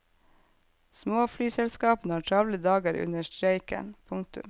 Småflyselskapene har travle dager under streiken. punktum